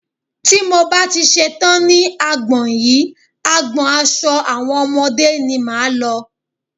Tí mo bá ti ṣetán ní agbọn yìí, agbọn aṣo àwọn ọmọdé ni máa lọ.